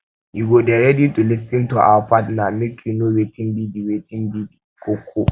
you go dey ready to lis ten to your partner make you know wetin be di wetin be di koko